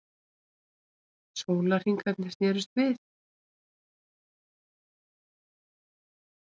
Sólarhringarnir snerust við.